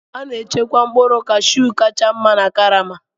A na-echekwa mkpụrụ Kashu kacha mma na karama.